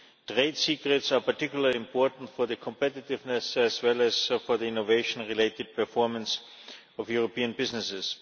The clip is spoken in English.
Trade secrets are particularly important for competitiveness and for the innovation-related performance of European businesses.